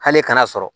Hali kana sɔrɔ